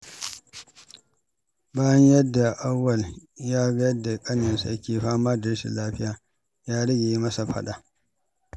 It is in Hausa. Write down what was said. Bayan Auwal ya ga yadda ƙaninsa ke fama da rashin lafiya, ya rage yi masa faɗa.